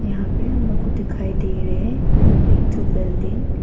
यहां पे हम लोग को दिखाई दे रहे हैं एक ठो बिल्डिंग ।